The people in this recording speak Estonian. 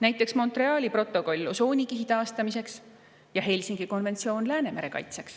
näiteks Montreali protokolliga osoonikihi taastamiseks ja Helsingi konventsiooniga Läänemere kaitseks.